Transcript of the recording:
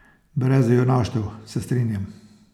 Brez junaštev, se strinjam.